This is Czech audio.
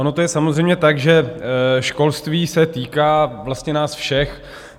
Ono to je samozřejmě tak, že školství se týká vlastně nás všech.